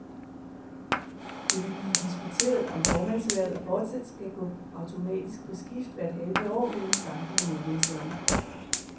Det vil blive diskuteret, om formandshvervet fortsat skal gå automatisk på skift hvert halve år mellem samtlige medlemslande.